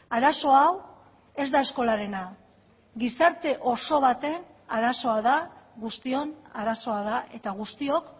arazo hau ez da eskolarena gizarte oso baten arazoa da guztion arazoa da eta guztiok